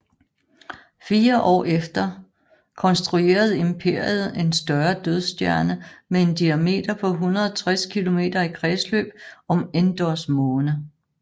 Fire år efter konstruerede Imperiet en større dødsstjerne med en diameter på 160 km i kredsløb om Endors måne